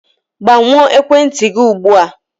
Gbanyụọ ekwentị gị ugbu a!